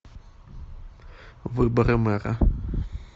выборы мэра